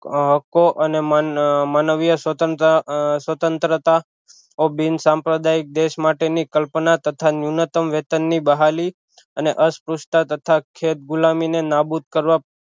હકો અને મન મનવીય સ્વતંત્ર સ્વતંત્રતા ઑ બિનસાંપ્રદાયિક દેશ માટે ની કલ્પના તથા નૂનયતમ વેતન ની બહાલી અને અસપરુંસતા તથા ખેત ગુલામી ને નાબૂદ કરવા